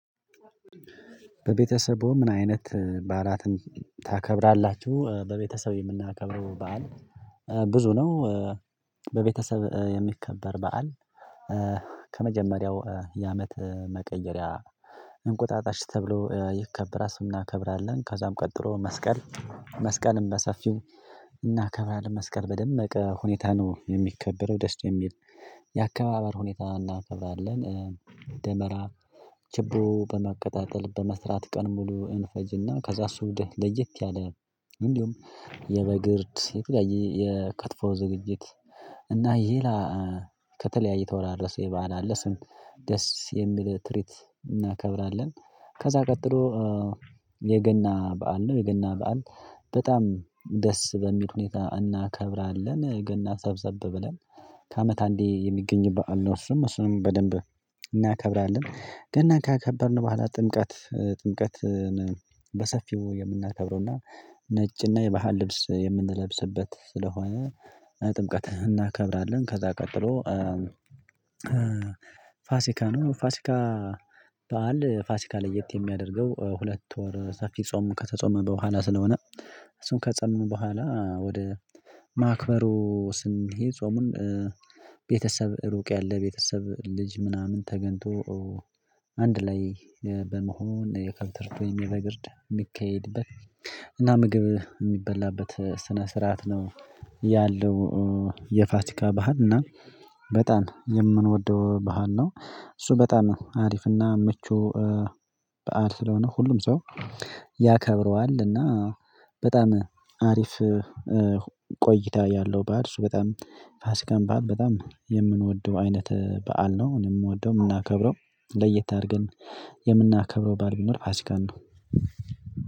በቤተሰቡ ምን አይነት በዓላትን ታከብራላችሁ? በቤተሰብ የምናከብረው በዓል ብዙ ነው። በቤተሰብ የሚከበር በዓል። ከመጀመሪያው የአመት መቀየሪያ እንቁጣጣሽ ተብሎ ይከበራል አሱን እናከብራለን። ከዛም ቀጥሎ መስቀል። መስቀልም በሰፊው እናከብራለን መስቀል በደመቀ ሁኔታ ነው የሚከበረው ደስ የሚል የአከባበር ሁኔታ እናከብራለን። ደመራ ጅብሩ በማቀጣጠል በመስራት ቀኑን ሙሉ እንፈጅና ከዛ እሱ ወደ ለየት ያለ። እንዲሁም የበግ እርድ የተለያየ የክትፎ ዝግጅት እና ይላ ከተለያየ የተወራረሰ የ በዓል አለ ስም ደስ የሚል ትሪት እናከብራለን። ከዛ ቀጥሎ። የገና በዓል ነው። የገና በዓል በጣም ደስ በሚል ሁኔታ እናከብራለን ገና ሰብሰብ ብለን ከአመት አንዴ የሚገኝ በዓል ነው እሱም እሱንም በደንብ እናከብራለን። ገናን ካከበርን በኋላ ጥምቀት ጥምቀትን በሰፊው የምናከብረውና ነጭና የባህል ልብስ የምንለብስበት ስለሆነ ጥምቀት እናከብራለን ከዛ ቀጥሎ። ፋሲካ ነው። ፋሲካ በዓል ፋሲካ ለየት የሚያደርገው ሁለት ወር ሰፊ ጾም ከተጾመ በኋላ ስለሆነ። እሱን ከፆበምን በኋላ ወደ ማክበሩ ስንሄድ ጾሙን ቤተሰብ ሩቅ ያለ ቤተሰብ ልጅ ምናምን ተገኝቶ አንድ ላይ በመሆን የከብት እርድ ወይም የበግ እርድ የሚካሄድበት እና ምግብ የሚበላበት ስነ ስርዓት ነው። ያለው። የፋሲካ ባህል እና በጣም የምንወደው ባህል ነው። እሱ በጣም አሪፍና ምቹ በዓል ስለሆነ ሁሉም ሰው ያከብረዋል። እና በጣም አሪፍ። ቆይታ ያለው በዓል እሱ በጣም ፋሲካን በዓል በጣም የምንወደው አይነት በዓል ነው። እኔ የምወደው የምናከብረው ለየት አድርገን የምናከብረው በዓል ቢኖር ፋሲካን ነው።